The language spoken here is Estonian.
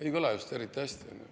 Ei kõla just eriti hästi.